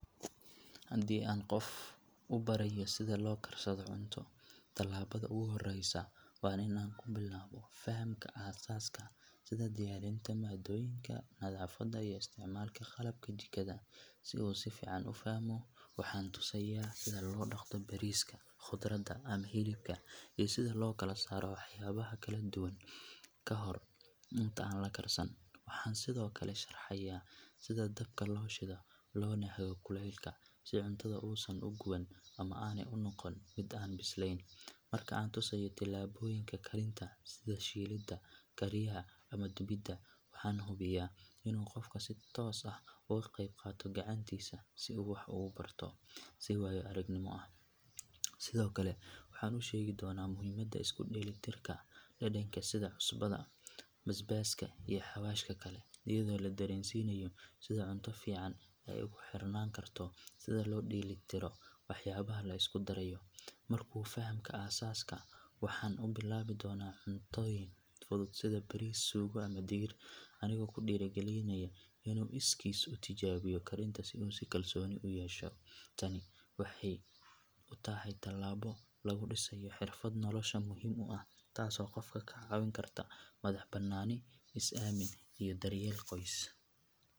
Haddii aan qof u barayo sida loo karsado cunto, tallaabada ugu horreysa waa in aan ku bilaabo fahamka aasaaska sida diyaarinta maaddooyinka, nadaafadda iyo isticmaalka qalabka jikada. Si uu si fiican u fahmo, waxaan tusayaa sida loo dhaqdo bariiska, khudradda ama hilibka iyo sida loo kala saaro waxyaabaha kala duwan ka hor inta aan la karsan. Waxaan sidoo kale sharaxayaa sida dabka loo shido loona hago kulaylka si cuntada uusan uga guban ama aanay u noqon mid aan bislayn. Marka aan tusayo tallaabooyinka karinta sida shiilidda, kariyaha ama dubidda, waxaan hubinayaa inuu qofka si toos ah uga qeyb qaato gacantiisa si uu wax ugu barto si waayo aragnimo ah. Sidoo kale waxaan u sheegi doonaa muhiimadda isku dheellitirka dhadhanka sida cusbada, basbaaska iyo xawaashka kale iyadoo la dareensiinayo sida cunto fiican ay ugu xirnaan karto sida loo dheellitiro waxyaabaha la isku darayo. Markuu fahmo aasaaska, waxaan u bilaabi doonaa cuntooyin fudud sida bariis, suugo ama digir, anigoo ku dhiirrigelinaya inuu iskiis u tijaabiyo karinta si uu kalsooni u yeesho. Tani waxay u tahay tallaabo lagu dhisayo xirfad nolosha muhiim u ah taasoo qofka ka caawin karta madaxbannaani, is aamin iyo daryeel qoys.